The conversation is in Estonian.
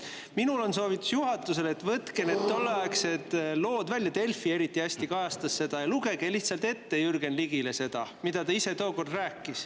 Mul on juhatusele soovitus: võtke need tolleaegsed lood välja – Delfi kajastas seda eriti hästi – ja lugege Jürgen Ligile lihtsalt ette seda, mida ta ise tookord rääkis.